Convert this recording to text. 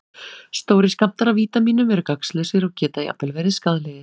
Stórir skammtar af vítamínum eru gagnslausir og geta jafnvel verið skaðlegir.